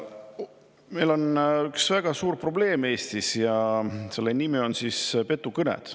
Meil on üks väga suur probleem Eestis ja selle nimi on petukõned.